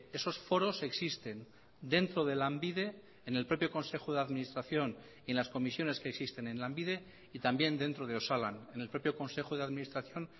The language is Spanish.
esos foros existen dentro de lanbide en el propio consejo de administración y en las comisiones que existen en lanbide y también dentro de osalan en el propio consejo de administración